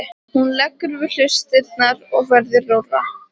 Hún leggur við hlustirnar og verður rórra.